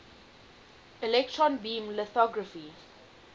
electron beam lithography